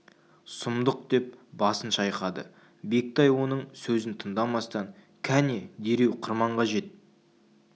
сұмдық деп басын шайқады бектай оның сөзін тыңдамастан кәне дереу қырманға жет